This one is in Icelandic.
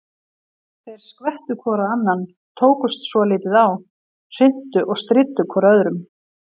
Þeir skvettu hvor á annan, tókust svolítið á, hrintu og stríddu hvor öðrum.